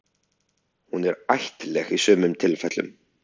Hún er ættlæg í sumum tilfellum.